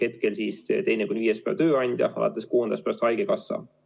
Hetkel siis hüvitab teise kuni viienda päeva tööandja, alates kuuendast päevast haigekassa.